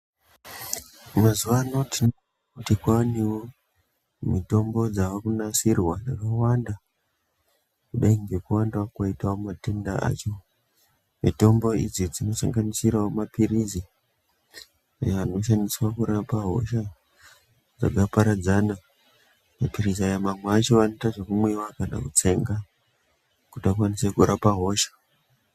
Mazuwaano tinoti kwaanewo ,mitombo dzaakunasirwa yakawanda, kudai ngekuwandawo kwoita matenda acho. Mitombo idzi dzinosanganisirawo maphirizi , anoshandiswa kurapa hosha, dzakaparadzana. Maphirizi aya mamwe acho anoita zvekumwiwa kana kutsenga ,kuti akwanise kurapa hosha.